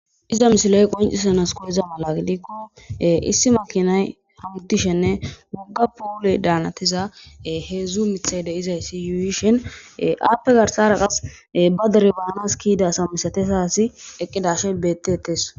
iza misiloy qoncisanas koyeza mala likko issi makinay hamudishenne mogga puule daanatiza heedzdzu mithay deizayssi yuuyishen appe garsara qas ba derebaanas kiyidasa misatesasi eqqidashe betetes